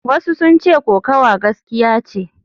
Wasu sun ce kokawa gaskiya ce.